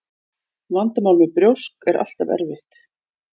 Vandamál með brjósk er alltaf erfitt.